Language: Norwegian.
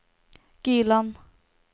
Gyland